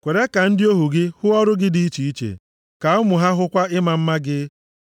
Kwere ka ndị ohu gị hụ ọrụ gị dị iche iche, ka ụmụ ha hụkwa ịma mma gị.